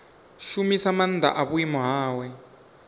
shumisa maanḓa a vhuimo hawe